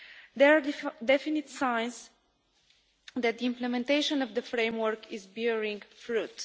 There are definite signs that the implementation of the framework is bearing fruit.